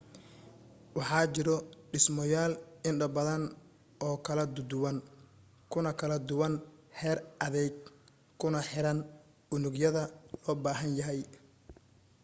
waxaa jiro dhismoyaal indho badan oo kala duduwan kuna kala duwan heer adeyg kuna xiran unugyada loo baahan yahay